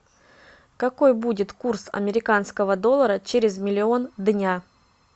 какой будет курс американского доллара через миллион дня